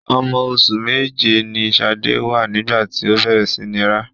Ọmọ oṣù méje ni Ṣadé wà nígbà tí ó bẹ̀rẹ̀ sí ní rá.